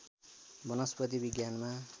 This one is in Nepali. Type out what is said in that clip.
वनस्पति विज्ञानमा